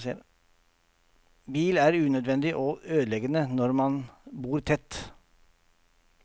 Bil er unødvendig og ødeleggende når man bor tett.